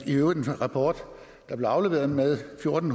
i øvrigt en rapport der blev afleveret med over en